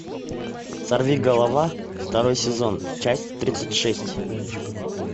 сорвиголова второй сезон часть тридцать шесть